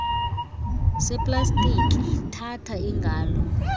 seplastiki thatha ingalo